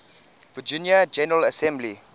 virginia general assembly